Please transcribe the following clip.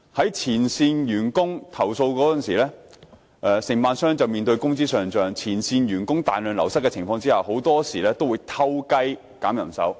當前線員工作出投訴時，承辦商便面對工資上漲和前線員工大量流失的情況，他們很多時候會"偷雞"削減人手。